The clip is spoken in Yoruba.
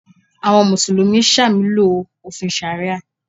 Àwọn Mùsùlùmí ṣàmúlò òfin ṣàríà